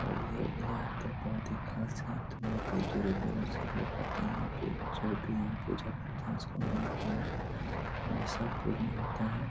और यह डिजाइन तो बहोत ही खास है बहोत ही दूरो-दूरो से लोग आते हैं यहां पे जो भी यहां पूजा करते हैं उसका मानोकामना हमेशा पूर्ण होता है।